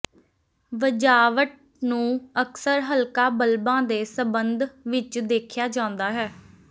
ਵਜਾਵਟ ਨੂੰ ਅਕਸਰ ਹਲਕਾ ਬਲਬਾਂ ਦੇ ਸਬੰਧ ਵਿਚ ਦੇਖਿਆ ਜਾਂਦਾ ਹੈ